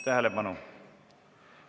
Tähelepanu!